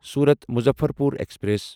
صورت مظفرپور ایکسپریس